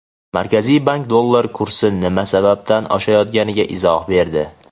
Markaziy bank dollar kursi nima sababdan oshayotganiga izoh berdi.